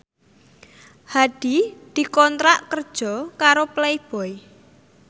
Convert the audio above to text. Hadi dikontrak kerja karo Playboy